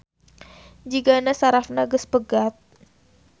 Jigana sarafna geus pegat